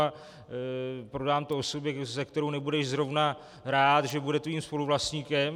A prodám to osobě, se kterou nebudeš zrovna rád, že bude tvým spoluvlastníkem.